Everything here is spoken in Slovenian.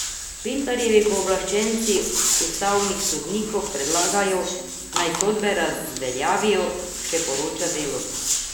Pintarjevi pooblaščenci ustavnim sodnikom predlagajo, naj sodbe razveljavijo, še poroča Delo.